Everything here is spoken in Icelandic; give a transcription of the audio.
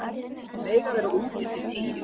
Mega vera úti til tíu